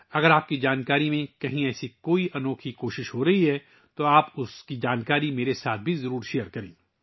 اگر آپ کو معلوم ہے کہ ایسی کوئی انوکھی کوشش کہیں کی جا رہی ہے تو آپ وہ معلومات میرے ساتھ ضرور شیئر کریں